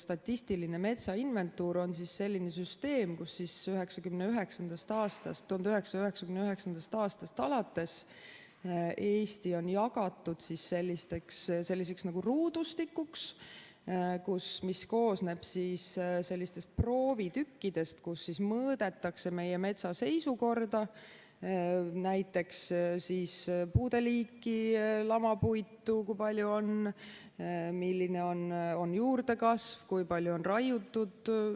Statistiline metsainventuur on selline süsteem, kus 1999. aastast alates Eesti on jagatud nagu ruudustikuks, mis koosneb proovitükkidest, kus mõõdetakse meie metsa seisukorda, näiteks puude liiki, kui palju on lamapuitu, milline on juurdekasv, kui palju on raiutud.